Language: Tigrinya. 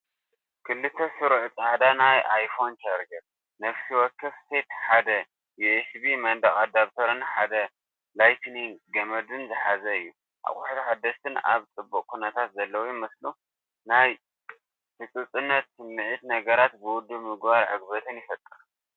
ክልተ ስሩዕ ጻዕዳ ናይ ኣይፎን ቻርጀር። ነፍሲ ወከፍ ሴት ሓደ ዩኤስቢ መንደቕ ኣዳፕተርን ሓደ ላይትኒንግ ገመድን ዝሓዘ እዩ። ኣቑሑት ሓደስቲን ኣብ ጽቡቕ ኩነታት ዘለዉን ይመስሉ። ናይ ህጹጽነት ስምዒትን ነገራት ውዱብ ምግባር ዕግበትን ይፈጥር።